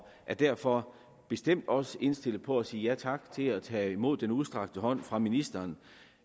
er derfor bestemt også indstillet på at sige ja tak til at tage imod den udstrakte hånd fra ministeren